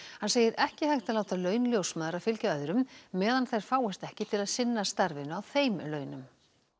hann segir ekki hægt að láta laun ljósmæðra fylgja öðrum meðan þær fáist ekki til að sinna starfinu á þeim launum